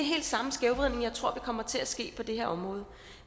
samme skævvridning jeg tror der kommer til at ske på det her område